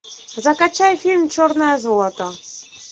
закачай фильм черное золото